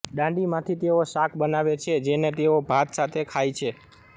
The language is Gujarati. દાંડીમાંથી તેઓ શાક બનાવે છે જેને તેઓ ભાત સાથે ખાય છે